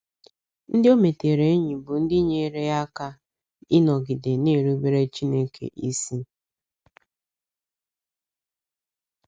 Ndị o metere enyi bụ ndị nyeere ya aka ịnọgide na - erubere Chineke isi.